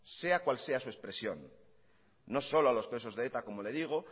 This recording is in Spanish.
sea cual sea su expresión no solo a los presos de eta como le digo